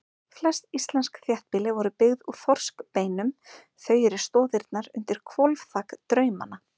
Flest íslensk þéttbýli voru byggð úr þorskbeinum, þau eru stoðirnar undir hvolfþak draumanna.